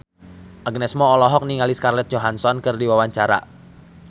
Agnes Mo olohok ningali Scarlett Johansson keur diwawancara